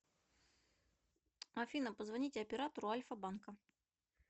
афина позвоните оператору альфа банка